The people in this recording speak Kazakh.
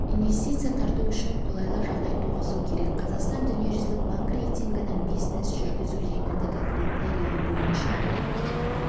инвестиция тарту үшін қолайлы жағдай туғызу керек қазақстан дүниежүзілік банк рейтингінің бизнес жүргізу жеңілдігі критерийі бойынша